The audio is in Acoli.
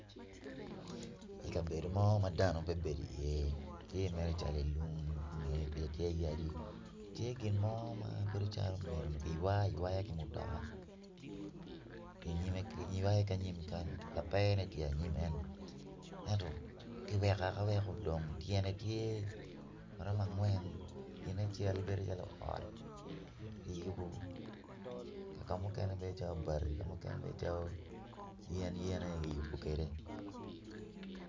I kabedo mo ma dano pe bedo iye tye i lung i ngeye tye yadi tye gin mo ma bedo calo omyero kiywa ki mutoka kiywayo ki i nyime lapene tye i nyim kany ki weko aweka tyene tye angwen gine bedo calo ot ki yubo ka mukene bedo calo bati yenyen aye kiyubo kwede.